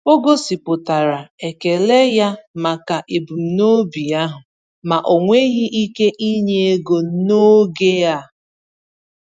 O gosipụtara ekele ya maka ebumnobi ahụ, ma o nweghị ike inye ego n’oge a.